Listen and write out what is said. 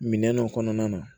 Minɛn dɔ kɔnɔna na